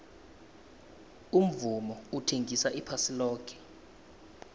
umvumo uthengisa iphasi loke